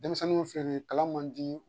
Denmisɛnnin filɛ nin ye kalan man di